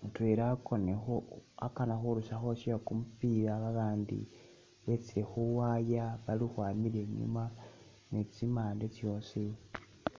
mutwela akonile khu'akana khurusakho uwashe kumupila abandi betsile khuwaya baali khukhwamila inyuma ni'tsimande tsyosii